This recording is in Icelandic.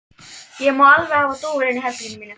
Ég má alveg hafa dúfur inni í herberginu mínu.